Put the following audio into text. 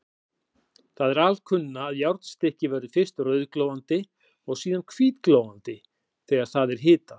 Það er alkunna, að járnstykki verður fyrst rauðglóandi og síðan hvítglóandi þegar það er hitað.